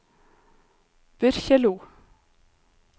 Byrkjelo